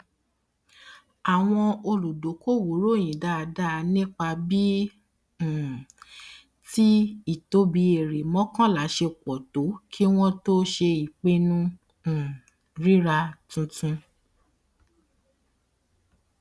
àwọn olùdokoowo ròyìn dáadáa nípa bíi um tí ìtóbi èrè mọkànlá ṣe pọ tó kí wọn tó ṣe ìpinnu um rírà tuntun